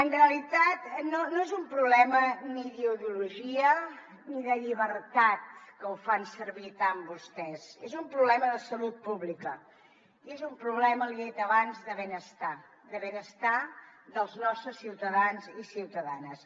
en realitat no és un problema ni d’ideologia ni de llibertat que ho fan servir tant vostès és un problema de salut pública i és un problema l’hi he dit abans de benestar de benestar dels nostres ciutadans i ciutadanes